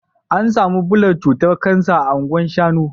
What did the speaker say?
, an samu bullar cutar Kansa a Anguwa shanu